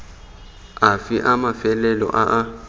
afe a mafelo a a